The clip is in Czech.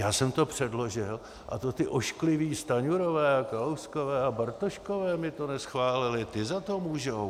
Já jsem to předložil a to ti oškliví Stanjurové a Kalouskové a Bartoškové mi to neschválili, ti za to můžou.